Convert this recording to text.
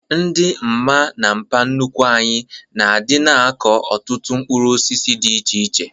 Ndị mma na mpa nnukwu anyị na-adịna akọ ọtụtụ mkpụrụ osisi dị iche iche